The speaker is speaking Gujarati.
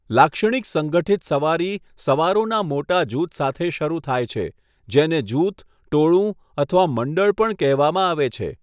લાક્ષણિક સંગઠિત સવારી સવારોના મોટા જૂથ સાથે શરૂ થાય છે, જેને જૂથ, ટોળું અથવા મંડળ પણ કહેવામાં આવે છે.